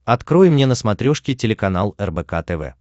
открой мне на смотрешке телеканал рбк тв